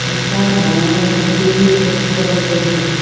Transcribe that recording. এটা ডাঙৰ পুখুৰী দেখা পোৱা গৈছে।